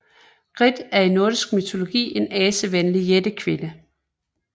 Grid er i nordisk mytologi en asevenlig jættekvinde